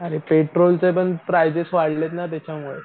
आणि पेट्रोलचे पण प्राइझेस वाढलेत ना त्याच्यामुळे.